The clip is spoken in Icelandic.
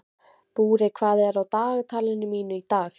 Búri, hvað er á dagatalinu mínu í dag?